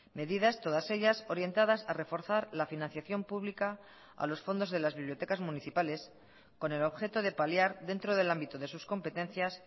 medidas todas ellas orientadas a reforzar la financiación pública a los fondos de las bibliotecas municipales con el objeto de paliar dentro del ámbito de sus competencias